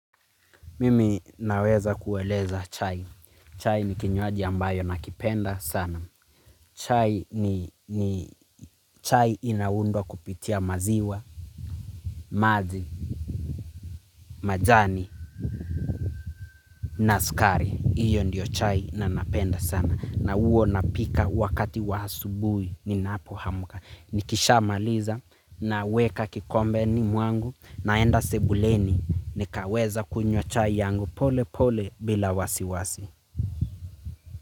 Mimi naweza kueleza chai. Chai ni kinywaji ambayo nakipenda sana. Chai ni ni chai inaundwa kupitia maziwa, maji, majani, na sukari. Hiyo ndio chai nanapenda sana. Na uo napika wakati wa asubuhi ninapo amka. Nikisha maliza naweka kikombe ni mwangu naenda sebuleni. Nikaweza kunywa chai yangu pole pole bila wasiwasi.